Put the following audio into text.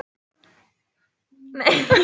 Við höldum þessu áfram